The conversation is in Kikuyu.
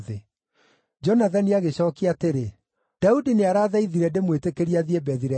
Jonathani agĩcookia atĩrĩ, “Daudi nĩarathaithire ndĩmwĩtĩkĩrie athiĩ Bethilehemu.